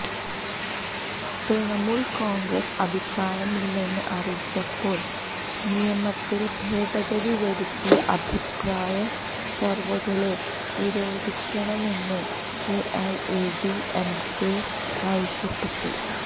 തൃണമൂല് കോണ്ഗ്രസ് അഭിപ്രായമില്ലെന്ന് അറിയിച്ചപ്പോള് നിയമത്തില് ഭേദഗതി വരുത്തി അഭിപ്രായ സര്വ്വേകളെ നിരോധിക്കണമെന്ന് എഐഎഡിഎംകെ ആവശ്യപ്പെട്ടു